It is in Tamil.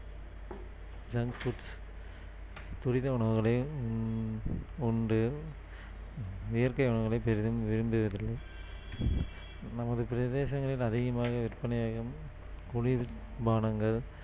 junk foods துரித உணவுகளையும் உண்டு இயற்கை வளங்களை பெரிதும் விரும்புவதில்லை நமது பிரதேசங்களில் அதிகமாக விற்பனையாகும் குளிர்பானங்கள்